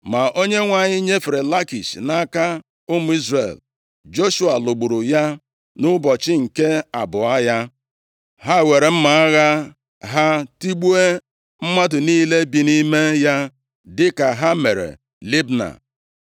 Ma Onyenwe anyị nyefere Lakish nʼaka ụmụ Izrel. Joshua lụgburu ya nʼụbọchị nke abụọ ya. Ha weere mma agha ha tigbuo mmadụ niile bi nʼime ya, dịka ha mere Libna.